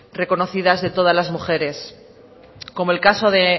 reconocidas de todas las mujeres como el caso de